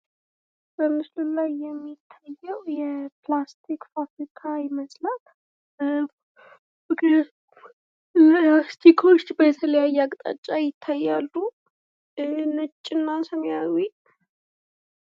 በምስሉ ላይ የሚታዬው የፕላስቲክ ፋብሪካ ይመስላል። በፕላስቲኩ ዉስጥ የተለያየ አቅጣጫ ይታያሉ። ነጭ እና ሰማያዊ።